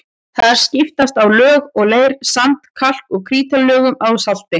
Þar skiptast á lög af leir-, sand-, kalk- og krítarlögum og salti.